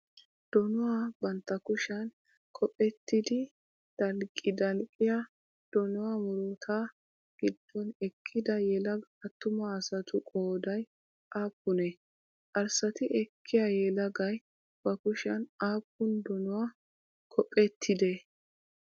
Donuwaa bantta kushiyan kophphetidi dalqqidalqqiyaa donuwaa murutaa giddon eqqida yelaga attuma asatu qoodayi aappunee? Arssati ekkiya yelagay bakushiyan aappun donuwaa kophphetidee?